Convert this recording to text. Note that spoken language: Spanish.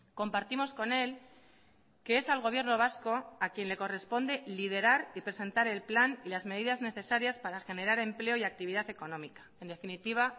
compartimos con él que es al gobierno vasco a quien le corresponde liderar y presentar el plan y las medidas necesarias para generar empleo y actividad económica en definitiva